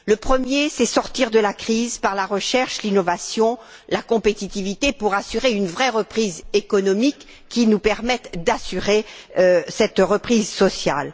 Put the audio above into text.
Le premier, c'est sortir de la crise par la recherche, l'innovation et la compétitivité pour assurer une vraie reprise économique qui nous permette d'assurer cette reprise sociale.